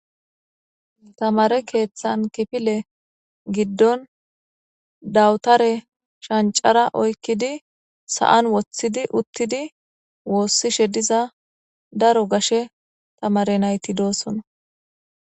Tamare keeththan kifile giddon dawutare shancara oykkidi sa'an woththidi uttidi woossishe diza daro gashe tamare nayti doosona.